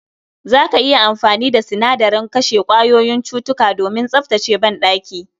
Za ka iya amfani da sinadaren kashe kwayoyin cutuka domin tsaftace banɗaki